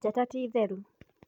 Njata ti theru